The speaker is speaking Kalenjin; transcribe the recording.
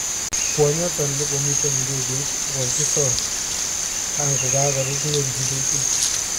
Kwonyoton nekomiten idegeit kogokisor kankoko rub ngweny idegeit.